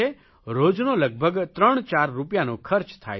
રોજનો લગભગ ત્રણ ચાર રૂપિયાનો ખર્ચ થાય છે